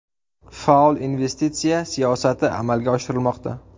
Faol investitsiya siyosati amalga oshirilmoqda.